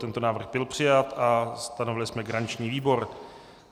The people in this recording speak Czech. Tento návrh byl přijat a stanovili jsme garanční výbor.